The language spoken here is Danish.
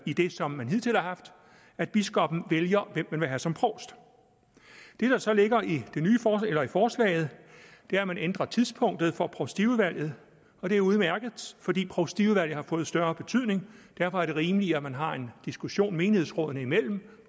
i det som man hidtil har haft at biskoppen vælger hvem man vil have som provst det der så ligger i forslaget er at man ændrer tidspunktet for provstiudvalget og det er udmærket fordi provstiudvalget har fået større betydning derfor er det rimeligt at man har en diskussion menighedsrådene imellem